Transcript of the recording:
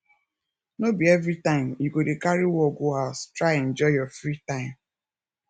no be everytime you go dey carry work go house try enjoy your free time